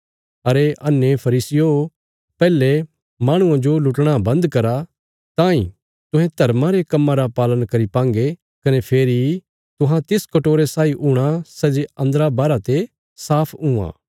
अरे अन्हे फरीसियो पैहले माहणुआं जो लुटणा बन्द करा तांई तुहें धर्मा रे कम्मां रा पालन करी पांगे कने फेरी तुहां तिस कटोरे साई हूणा सै जे अन्दरा बाहरा ते साफ हुआं